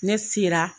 Ne sera